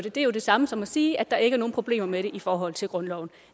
er det samme som at sige at der ikke er nogen problemer med det i forhold til grundloven